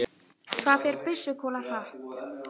Hvað fer byssukúla hratt?